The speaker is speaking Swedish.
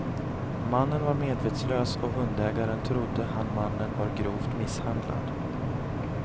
Mannen var medvetslös och hundägaren trodde han mannen var grovt misshandlad.